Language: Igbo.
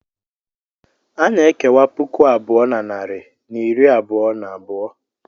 A na-ekewa puku abụọ na narị na iri abụọ na abụọ.